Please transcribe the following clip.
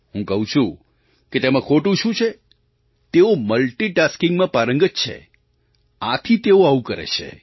હું કહું છું કે તેમાં ખોટું શું છે તેઓ મલ્ટિટાસ્કિંગમાં પારંગત છે આથી તેઓ આવું કરે છે